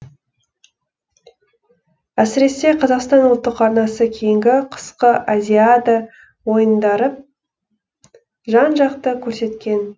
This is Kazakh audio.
әсіресе қазақстан ұлттық арнасы кейінгі қысқы азиада ойындарып жан жақты көрсеткен